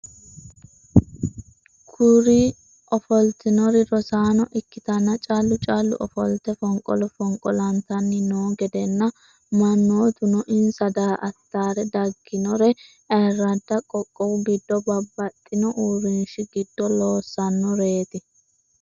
Kuri ofoltinnor rosaano ikkitanna callu callu ofolte fonqolo fonqolantanni noo gedenna mannotuno insa daa"attara dagginnore ayirradda qoqqowu giddo babaxino uurinshi giddo loossannoret.